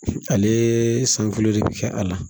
Ale san filo de bi kɛ a la